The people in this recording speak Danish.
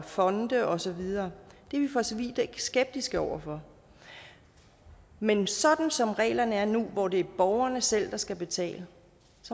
fonde og så videre det er vi for så vidt ikke skeptiske over for men sådan som reglerne er nu hvor det er borgerne selv der skal betale